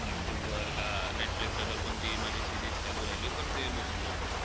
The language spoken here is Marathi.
यूट्यूब वर का, नेटफ्लिक्स कोणती माझी series चालू राहिली, तर ते बघून घेतो.